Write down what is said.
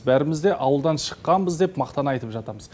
бәрімізде ауылдан шыққанбыз деп мақтана айтып жатамыз